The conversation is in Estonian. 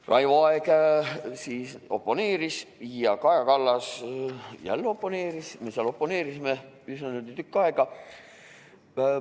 Raivo Aeg oponeeris ja Kaja Kallas omakorda oponeeris, me oponeerisime seal niimoodi üsna tükk aega.